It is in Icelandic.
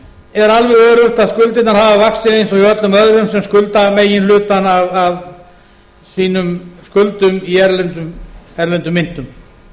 öruggt að skuldirnar hafa vaxið eins og hjá öllum öðrum sem skulda meginhlutann af sínum skuldum í erlendum myntum